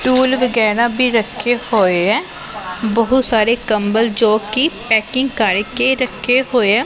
Tool ਵਗੈਰਾ ਵੀ ਰੱਖੇ ਹੋਏ ਐ ਬਹੁਤ ਸਾਰੇ ਕੰਬਲ ਜੋ ਕਿ ਪੈਕਿੰਗ ਕਰਕੇ ਰੱਖੇ ਹੋਏ ਆ।